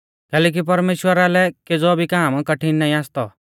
कैलैकि परमेश्‍वरा लै केज़ौ भी काम कठिण नाईं आसतौ